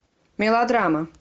мелодрама